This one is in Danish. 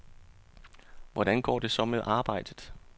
Hvordan går det så med arbejdet?